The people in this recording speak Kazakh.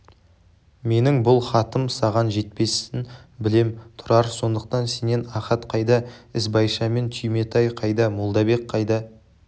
менің бұл хатын саған жетпесін білем тұрар сондықтан сенен ахат қайда ізбайшамен түйметай қайда молдабек қайда